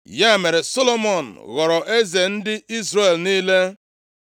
Ya mere Solomọn ghọrọ eze ndị Izrel niile.